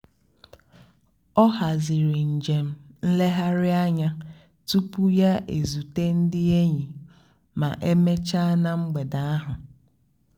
ọ́ hazírí njém nlègharị́ ányá túpú yá ézúté ndí ényí má émécháá nà mgbedé áhụ̀.